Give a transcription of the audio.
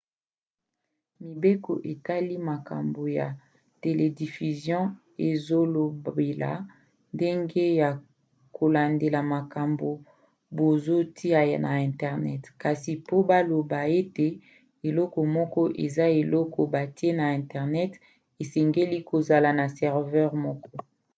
mibeko etali makambo ya telediffusion ezolobela ndenge ya kolandela makambo bazotia na internet kasi po baloba ete eloko moko eza eloko batie na internet esengeli kozala na serveur moko